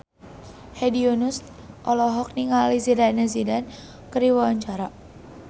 Hedi Yunus olohok ningali Zidane Zidane keur diwawancara